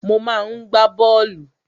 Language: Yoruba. Mo máa ń gbá bọ́ọ̀lù.